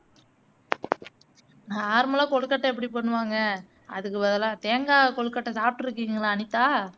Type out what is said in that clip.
normal ஆ கொழுக்கட்டை எப்படி பண்ணுவாங்க அதுக்கு பதிலா தேங்காய் கொழுக்கட்டை சாப்பிடுயிருக்கீங்களா அனிதா